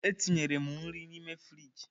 Etinyere m nri n'ime frịjị.